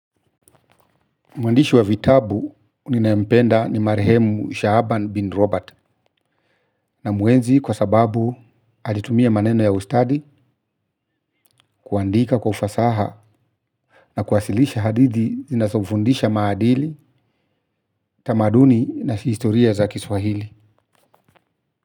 Mwandishi wa vitabu nninaempenda ni marehemu Shahaban bin Robert namuenzi kwa sababu alitumia maneno ya ustadi kuandika kwa ufasaha na kuwasilisha hadidhi zinazofundisha maadili, tamaduni na historia za kiswahili.